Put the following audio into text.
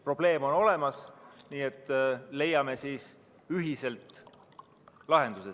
Probleem on olemas, nii et leiame sellele siis ühiselt lahenduse.